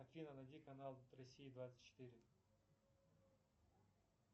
афина найди канал россия двадцать четыре